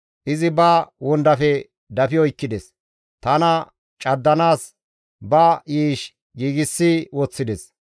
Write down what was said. Izi ba wondafe dafi oykkides; tana caddanaas ba yiish giigsi woththides.